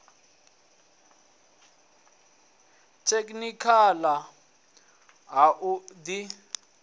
tekhinikha ḽa ha u ḓi